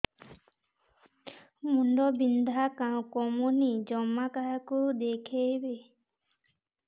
ମୁଣ୍ଡ ବିନ୍ଧା କମୁନି ଜମା କାହାକୁ ଦେଖେଇବି